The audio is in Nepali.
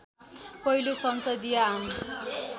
पहिलो संसदीय आम